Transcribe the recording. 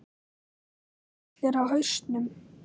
Eru ekki allir á hausnum?